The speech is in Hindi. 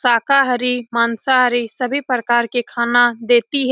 शाकाहारी मांसाहारी सभी प्रकार के खाना देती है।